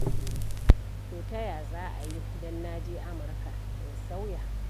To ta ya za a yi don na je Amurka in sauya?